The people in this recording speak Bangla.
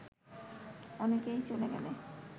অনেকেই চলে গেলে